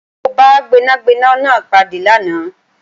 Mó bá Gbẹ́nàgbẹ́nà náà pàdé lánàá